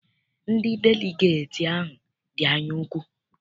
Ndị deligeeti ahụ dị anya ukwu.